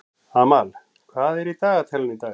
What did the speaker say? Amal, hvað er í dagatalinu í dag?